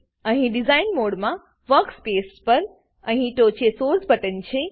અહીં ડીઝાઇન મોડમાં વર્કસ્પેસ પર અહીં ટોંચે સોર્સ બટન છે